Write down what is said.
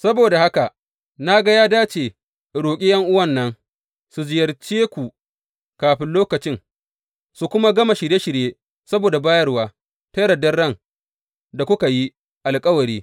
Saboda haka, na ga ya dace in roƙi ’yan’uwan nan su ziyarce ku kafin lokacin, su kuma gama shirye shirye saboda bayarwa ta yardar ran da kuka yi alkawari.